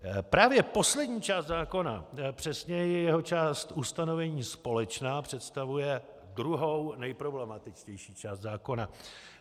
Právě poslední část zákona, přesněji jeho část Ustanovení společná představuje druhou neproblematičtější část zákona.